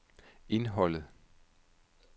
indholdet